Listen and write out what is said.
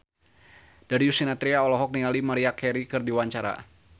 Darius Sinathrya olohok ningali Maria Carey keur diwawancara